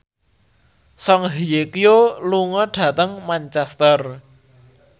Song Hye Kyo lunga dhateng Manchester